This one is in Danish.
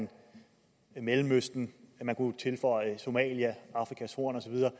i mellemøsten og man kunne tilføje somalia afrikas horn og så videre